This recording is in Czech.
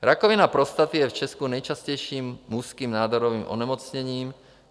Rakovina prostaty je v Česku nejčastějším mužským nádorovým onemocněním.